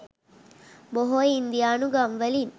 බොහෝ ඉන්දියානු ගම්වලින්